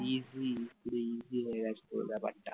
easy easy পুরো easy হয়ে গেছে ব্যাপারটা